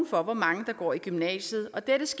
højt gymnasierne